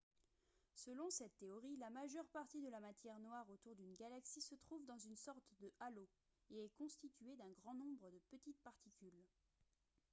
selon cette théorie la majeure partie de la matière noire autour d'une galaxie se trouve dans une sorte de halo et est constituée d'un grand nombre de petites particules